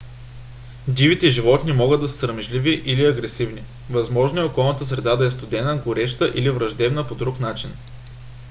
дивите животни могат да са срамежливи или агресивни. възможно е околната среда да е студена гореща или враждебна по друг начин